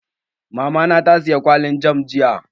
Mamana ta siye kwalin jam jiya